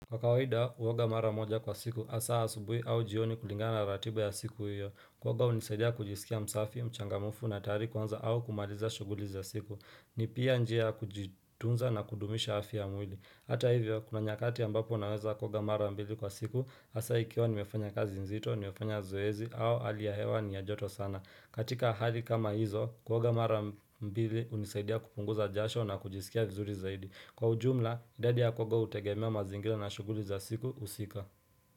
Kwa kawaida huoga mara moja kwa siku hasa asubuhi au jioni kulingana ratiba ya siku hiyo Kuoga unisaidia kujisikia msafi, mchangamufu na tayari kuanza au kumaliza shuguli za siku ni pia njia kujitunza na kudumisha afia ya mwili Hata hivyo, kuna nyakati ambapo naweza kuoga mara mbili kwa siku, hasa ikiwa nimefanya kazi nzito, nimefanya zoezi, au hali hewa ni ya joto sana. Katika hali kama hizo, kuoga mara mbili hunisaidia kupunguza jasho na kujisikia vizuri zaidi. Kwa ujumla, idadi ya kuoga hutegemea mazingira na shuguli za siku husika.